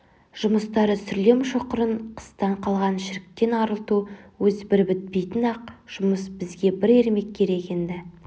жұмыстары сүрлем шұқырын қыстан қалған шіріктен арылту өзі бір бітпейтін-ақ жұмыс бізге бір ермек керек енді